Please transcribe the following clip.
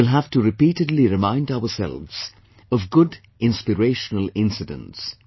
We will have to repeatedly remind ourselves of good inspirational incidents